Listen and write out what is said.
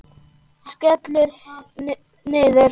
Skellur niður.